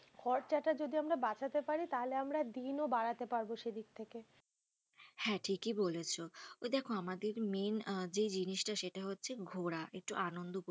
খরচা টা যদি আমরা বাঁচাতে পারি তাহলে আমরা দিন ও বাড়াতে পারবো সেই দিক থেকে হ্যাঁ ঠিকই বলেছো, ওই দেখো main যে জিনিস টা সেটা হচ্ছে ঘোরা, একটু আনন্দ করতে,